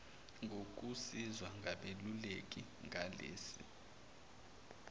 ngokusizwa ngabeluleki ngalesi